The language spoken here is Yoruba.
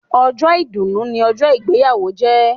Ọjọ́ ìdùnnu ni ọjọ́ ìgbéyàwó jẹ́.